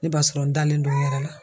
Ne b'a sɔrɔ n dalen don n yɛrɛ la.